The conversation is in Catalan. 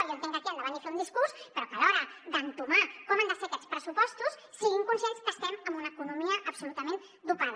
jo entenc que aquí han de venir a fer un discurs però que a l’hora d’entomar com han de ser aquests pressupostos siguin conscients que estem amb una economia absolutament dopada